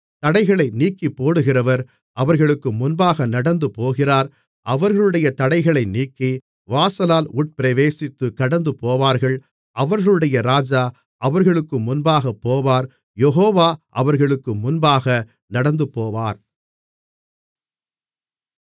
தடைகளை நீக்கிப்போடுகிறவர் அவர்களுக்கு முன்பாக நடந்துபோகிறார் அவர்களுடைய தடைகளை நீக்கி வாசலால் உட்பிரவேசித்துக் கடந்துபோவார்கள் அவர்களுடைய ராஜா அவர்களுக்கு முன்பாகப் போவார் யெகோவா அவர்களுக்கு முன்பாக நடந்துபோவார்